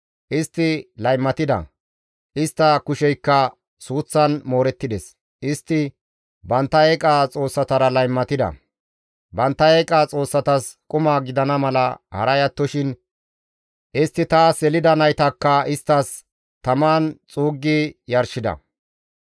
Istti laymatida; istta kusheykka suuththan moorettides. Istti bantta eeqa xoossatara laymatida; bantta eeqa xoossatas quma gidana mala haray attoshin istti taas yelida naytakka isttas taman xuuggi yarshida.